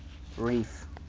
reef